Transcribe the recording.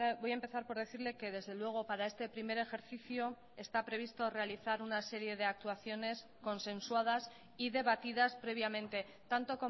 voy a empezar por decirle que desde luego para este primer ejercicio está previsto realizar una serie de actuaciones consensuadas y debatidas previamente tanto